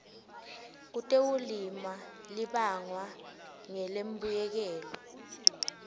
kutekulima libangwa ngulembuyekelo